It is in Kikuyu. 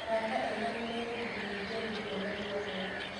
Arata ega nĩ megũgũteithia gũtua matua mega.